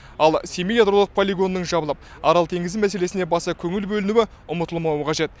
ал семей ядролық полигонының жабылып арал теңізі мәселесіне баса көңіл бөлінуі ұмытылмауы қажет